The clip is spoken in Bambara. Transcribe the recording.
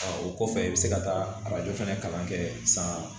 o kɔfɛ i bɛ se ka taa arajo fana kalan kɛ san